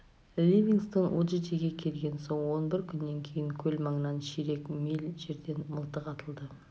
ливингстон уджиджиге келген соң он бір күннен кейін көл маңынан ширек миль жерден мылтық атылды